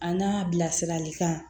An ka bilasiralikan